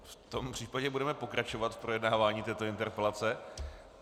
V tom případě budeme pokračovat v projednávání této interpelace.